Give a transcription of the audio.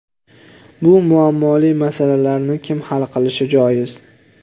Bu muammoli masalalarni kim hal qilishi joiz?